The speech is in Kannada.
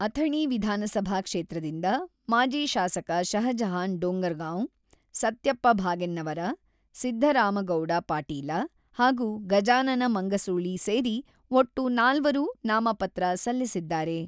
ಅಥಣಿ ವಿಧಾನಸಭಾ ಕ್ಷೇತ್ರದಿಂದ ಮಾಜಿ ಶಾಸಕ ಶಹಜಹಾನ್ ಡೋಂಗರ್‌ಗಾಂವ್‌, ಸತ್ಯಪ್ಪ ಭಾಗೆನ್ನವರ, ಸಿದ್ದರಾಮಗೌಡ ಪಾಟೀಲ ಹಾಗೂ ಗಜಾನನ ಮಂಗಸೂಳಿ ಸೇರಿ ಒಟ್ಟು ನಾಲ್ವರು ನಾಮಪತ್ರ ಸಲ್ಲಿಸಿದ್ದಾರೆ.